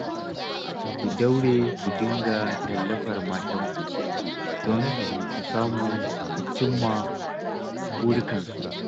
Ku daure ku dinga tallafar matanku don su samu su cimma burikansu